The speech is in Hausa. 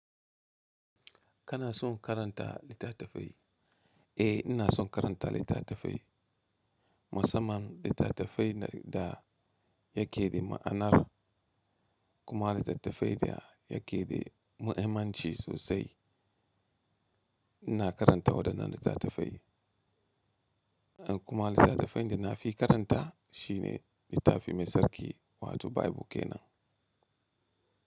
Kana son karanta litattafai? Eh, ina son karanta littatafai. Musamman littattafai da yake da ma'anar kuma littattafai da yake da muhimmanci sosai ina karanta waɗannan littatafai. Kuma littatafan da na fi karanta shi ne littafi mai sarki wato Bible ke nan.